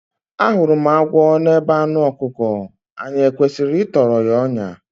Ahụrụ m agwọ n’ebe anụ ọkụkọ, anyị e kwesịrị ịtọrọ ya ọnyà?